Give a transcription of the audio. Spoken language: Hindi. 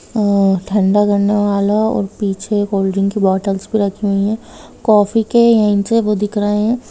आ ठंडा करने वाला और पीछे कोल्ड ड्रिंक्स की बॉटल्स भी रखी हुई है कॉफ़ी के एन्ड से वो दिख रहें है।